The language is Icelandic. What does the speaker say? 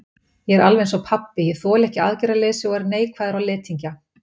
Ég er alveg einsog pabbi, ég þoli ekki aðgerðaleysi og er neikvæður á letingja.